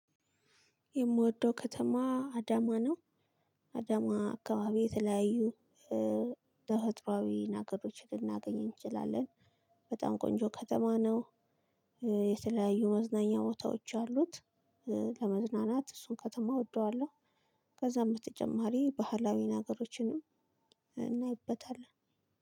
የምወደው ከተማ አዳማ ነው። አዳማ አካባቢ የተለያዩ ተፈጥሮአዊ ነገሮች ልናገኘኝ እንችላለን። በጣም ቆንጆ ከተማ ነው። የተለያዩ መዝናኛ ቦታዎች አሉት። ለመዝናናት እሱን ከተማ እወደዋለሁ። ከዛም በተጨማሪ ባህላዊ ነገሮችንም እናይበታለን